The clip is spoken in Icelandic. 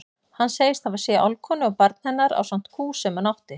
Hann segist hafa séð álfkonu og barn hennar ásamt kú sem hún átti.